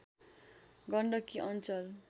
गण्डकी अञ्चल